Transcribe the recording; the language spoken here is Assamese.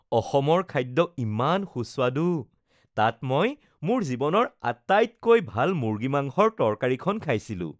অসমৰ খাদ্য ইমান সুস্বাদু। তাত মই মোৰ জীৱনৰ আটাইতকৈ ভাল মুৰ্গী মাংসৰ তৰকাৰীখন খাইছিলোঁ ।